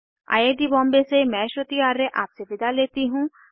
I I T Bombay से मैं श्रुति आर्य आपसे विदा लेती हूँ